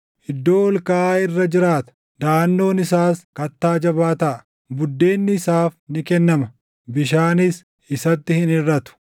iddoo ol kaʼaa irra jiraata; daʼannoon isaas kattaa jabaa taʼa. Buddeenni isaaf ni kennama; bishaanis isatti hin hirʼatu.